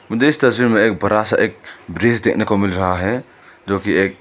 मुझे इस तस्वीर में एक बड़ा सा एक ब्रिज देने को मिल रहा है जोकि ये --